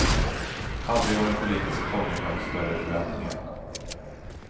Aldrig har en politisk fånge mött större förväntningar.